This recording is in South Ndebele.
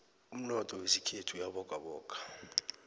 umnotho wekhethu uyabogaboga